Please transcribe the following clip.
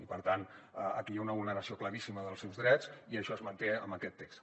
i per tant aquí hi ha una vulneració claríssima dels seus drets i això es manté en aquest text